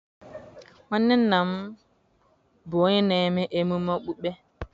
nwanne nna m bụ onye na-eme ememe okpukpe.